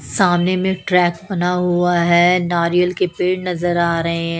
सामने में ट्रैक बना हुआ है नारियल के पेड़ नजर आ रहे--